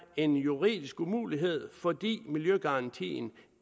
en juridisk umulighed fordi miljøgarantien